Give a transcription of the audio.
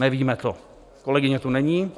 Nevíme to, kolegyně tu není.